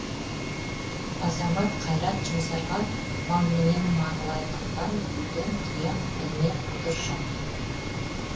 азамат қайрат жұмсарға мал менен малайлықтан бөтен тұяқ ілінер бұдыр жоқ